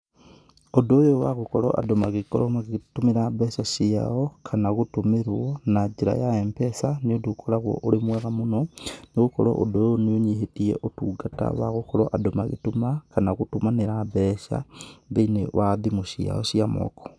ũndũ ũyũ wa gũkorwo andũ magĩkorwo magĩtũmĩra mbeca cío, kana gũtumĩrwo, na njĩra Mpesa , nĩ ũndũ ũkoragwo ũrĩ mwega mũno, nĩgũkorwo ũndũ ũyo nĩ ũnyihĩtie ũtungata wa gũkorwo andũ magĩtuma kana gũtumanĩra mbeca, thĩiniĩ wa thimũ ciao cia moko.